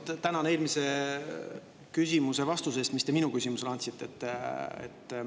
Esmalt tänan eelmise vastuse eest, mis te minu küsimusele andsite.